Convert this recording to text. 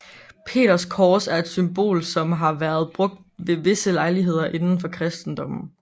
Peterskors er et symbol som har været brugt ved visse lejligheder inden for kristendommen